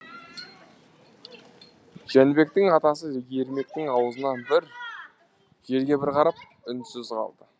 жәнібектің атасы ермектің аузына бір жерге бір қарап үнсіз қалды